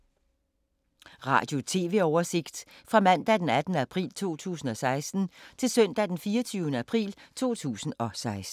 Radio/TV oversigt fra mandag d. 18. april 2016 til søndag d. 24. april 2016